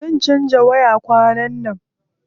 Zan canza waya kwanan nan.